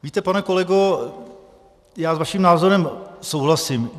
Víte, pane kolego, já s vaším názorem souhlasím.